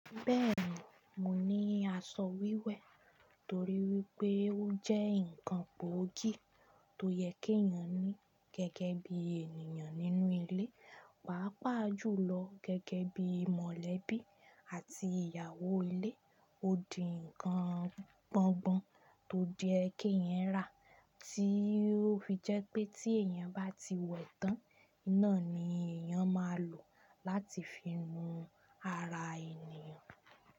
Bẹ́ẹ̀ni, mo ní aṣọ wíwẹ̀ torí wípé ó jẹ́ ǹkan gbóògì tó yẹ kí èèyàn ní gẹ́gẹ́ bí ènìyàn nínú ilé, pàápàá jùlọ gẹ́gẹ́ bí mọ̀lẹ́bí àti ìyàwó ilé. Ó di nǹkan gbọ̀ngbọ̀n tó yẹ kéèyàn rà, tí ó fi jẹ́ pé téèyàn bá ti wẹ̀ tán náà ni èèyàn máa lò láti fi nu ara ènìyàn.